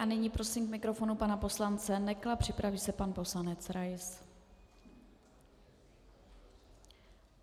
A nyní prosím k mikrofonu pana poslance Nekla, připraví se pan poslanec Rais.